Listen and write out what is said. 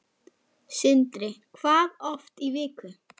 Sindri: Hvað oft í viku?